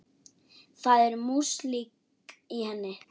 Það er músík í henni.